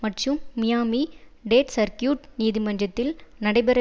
மற்றும் Miami Dade circuit நீதிமன்றத்தில் நடைபெற